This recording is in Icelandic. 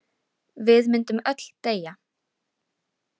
Við myndum öll deyja.